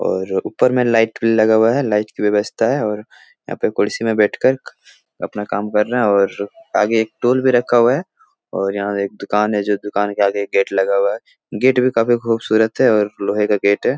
और ऊपर में लाइट लगा हुआ है लाइट की व्यवस्था है और यहाँ पे कुर्सी मे बैठकर अपना काम कर रहे है और आगे एक टूल भी रखा हुआ है और यहाँ एक दुकान है जो दुकान के आगे एक गेट लगा हुआ है गेट भी काफी खूबसूरत है और लोहे का गेट है।